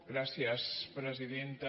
gràcies presidenta